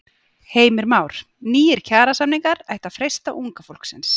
Heimir Már: Nýir kjarasamningar ættu að freista unga fólksins?